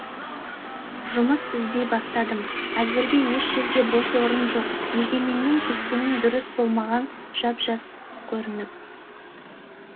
жұмыс іздей бастадым әзірге еш жерге бос орын жоқ егеменнен кеткенің дұрыс болмаған жап жақсы көрініп